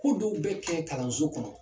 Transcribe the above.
Ko dɔw bɛ kɛ kalanso kɔnɔ